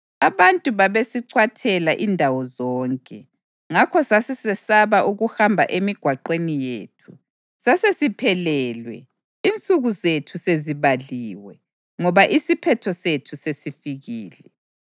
Abantu babesicwathela indawo zonke, ngakho sasesisesaba ukuhamba emigwaqweni yethu. Sasesiphelelwe, insuku zethu sezibaliwe, ngoba isiphetho sethu sesifikile.